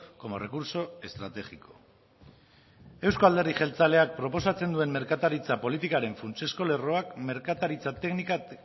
como recurso estratégico euzko alderdi jeltzaleak proposatzen duen merkataritza politikaren funtsezko lerroak